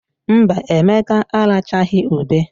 Mba, Emeka arachaghị ube.